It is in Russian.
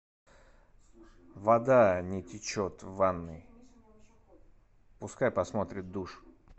вода не течет в ванной пускай посмотрят душ